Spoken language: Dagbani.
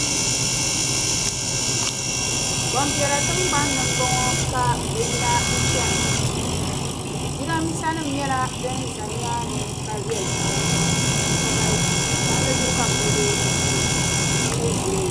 Gbampiɛla tiŋgbani m-bɔŋɔ ka bɛ yina n-chana. Jidambiisanima nyɛla din za nimaani ka viɛli pam ka galisi. Palli zuɣu ka bɛ kuli be n-chana bɛ mi zooya.